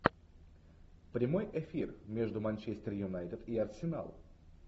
прямой эфир между манчестер юнайтед и арсенал